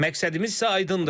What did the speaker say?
Məqsədimiz isə aydındır.